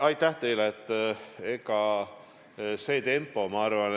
Aitäh, teile!